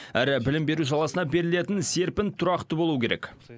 әрі білім беру саласына берілетін серпін тұрақты болуы керек